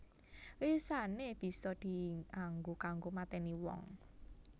Wisané bisa dianggo kanggo matèni wong